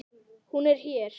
Hún er hér.